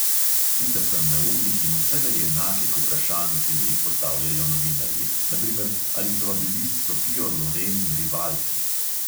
Sita sem neumnih in vselej enakih vprašanj, ki mi jih postavljajo novinarji, na primer, ali sva bili s sofijo loren rivalki.